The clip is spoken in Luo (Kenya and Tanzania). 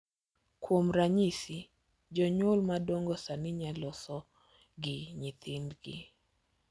Kuom ranyisi, jonyuol madongo sani nyalo loso gi nyithindgi